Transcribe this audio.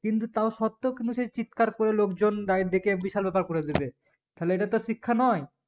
কিন্তু তাও শর্তে কিন্তু সে চিৎকার করে লোকজন দেকে বিশাল ব্যাপার করে দেবে তাহলে এটা তার শিক্ষা নই